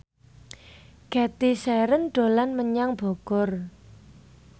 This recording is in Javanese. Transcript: Cathy Sharon dolan menyang Bogor